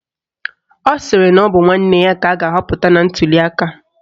Ọ sịrị na ọ bụ nwanne ya ka a ga-ahọpụta na ntuliaka